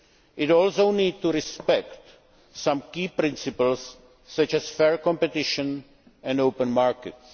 It also needs to respect some key principles, such as fair competition and open markets.